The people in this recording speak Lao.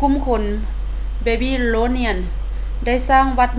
ກຸ່ມຄົນ babylonians ໄດ້ສ້າງວັດ